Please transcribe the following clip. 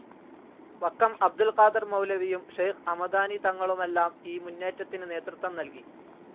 വക്കം അബ്ദുൽ ഖാദർ മൗലവിയും, ഷെയ്ഖ്‌ ഹമദാനി തങ്ങളുമെല്ലാം ഈ മുന്നേറ്റത്തിന് നേതൃത്വം നൽകി.